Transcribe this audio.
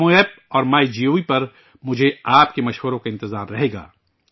نمو app اور MyGov پر مجھے آپ کی تجاویز کا انتظار رہے گا